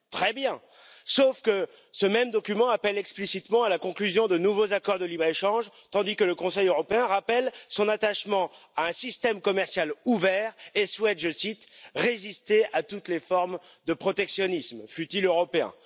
Très bien, sauf que ce même document appelle explicitement à la conclusion de nouveaux accords de libre échange, tandis que le Conseil européen rappelle son attachement à un système commercial ouvert et souhaite résister à toutes les formes de protectionnisme, fût il européen.